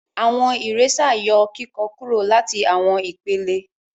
Awọn eraser yọ kikọ kúrò láti awọn ìpele.